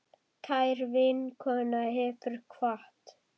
Kær vinkona hefur kvatt.